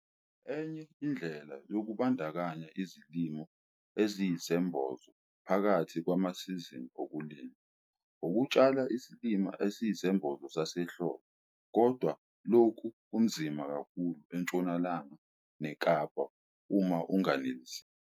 Enye indlela yokubandakanya izilimo eziyisembozo phakathi kwamasizini okulima, ukutshala isilimo esiyisembozo sasehlobo. Kodwa lokhu kunzima kakhulu eNtshonalanga neKapa uma unganiseli.